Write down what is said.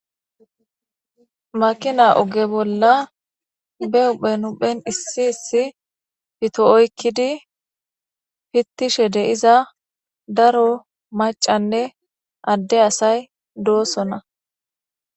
makina oge bolla be uphenuphen issi issi fito oykkidi fittishe deiza daro macanne adde asay doosona